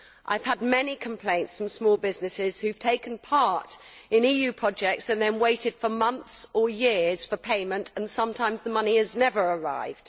I have had many complaints from small businesses that have taken part in EU projects and have then waited for months or years for payment, and sometimes the money has never arrived.